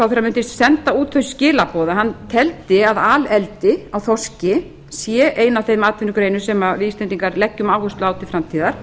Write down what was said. sjávarútvegsráðherra mundi senda út þau skilaboð að hann teldi að aleldi á þorski sé ein af þeim atvinnugreinum sem við íslendingar leggjum áherslu á til framtíðar